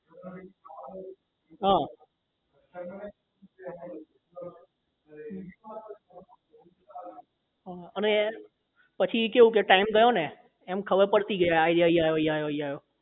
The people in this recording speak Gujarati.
હા અને પછી કેવું કે time થયો ને એમ ખબર પડતી ગયી આ અહીં આયો આ તઇ આયો એમ